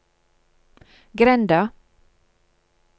grenda